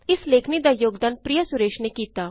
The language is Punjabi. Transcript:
ਇਸ ਲੇਖਨੀ ਦਾ ਯੋਗਦਾਨ ਪ੍ਰਿਯਾ ਸੁਰੇਸ਼ ਨੇ ਕੀਤਾ